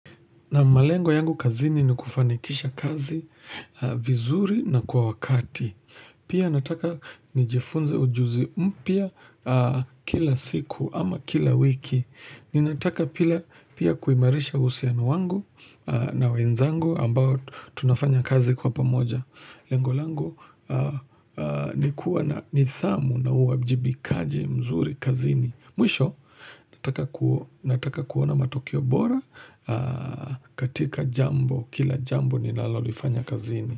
Na malengo yangu kazini ni kufanikisha kazi vizuri na kwa wakati. Pia nataka nijifunze ujuzi mpya kila siku ama kila wiki. Ninataka pia kuimarisha uhusiano wangu na wenzangu ambao tunafanya kazi kwa pamoja. Lengo langu nikuwa na nidhamu na uwajibikaji mzuri kazini. Mwisho, nataka kuona matokeo bora katika jambo, kila jambo ni lalolifanya kazini.